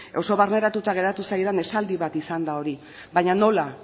oso barneratuta geratu zaidan esaldi bat izan da hori baina nola